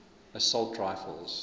assault rifles